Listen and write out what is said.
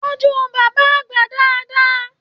Tọjú bàbá àgbà dáadáa!